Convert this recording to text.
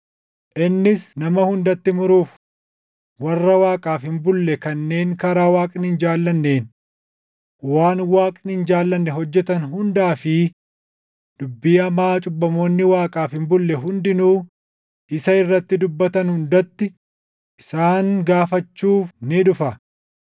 innis nama hundatti muruuf, warra Waaqaaf hin bulle kanneen karaa Waaqni hin jaallanneen waan Waaqni hin jaallanne hojjetan hundaa fi dubbii hamaa cubbamoonni Waaqaaf hin bulle hundinuu isa irratti dubbatan hundatti isaan gaafachuuf ni dhufa.”